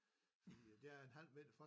Fordi der er en halv meter fra